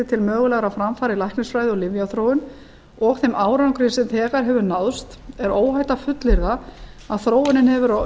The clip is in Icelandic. til mögulegra framfara í læknisfræði og lyfjaþróun og þeim árangri sem þegar hefur náðst er óhætt að fullyrða að þróunin hefur á